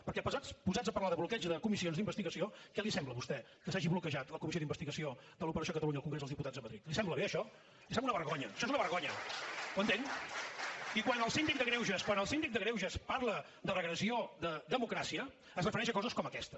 perquè posats a parlar de bloqueig de comissions d’investigació què li sembla a vostè que s’hagi bloquejat la comissió d’investigació de l’operació catalunya al congrés dels diputats a madrid li sembla bé això això és una vergonya ho entén i quan el síndic de greuges parla de regressió de democràcia es refereix a coses com aquesta